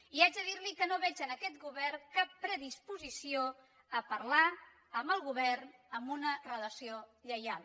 i haig de dir li que no veig en aquest govern cap predisposició a parlar amb el govern amb una relació lleial